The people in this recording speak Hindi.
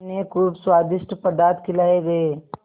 उन्हें खूब स्वादिष्ट पदार्थ खिलाये गये